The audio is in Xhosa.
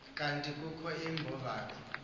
kanti kukho iimbovane